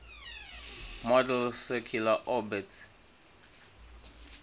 model's circular orbits